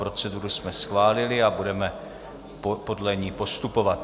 Proceduru jsme schválili a budeme podle ní postupovat.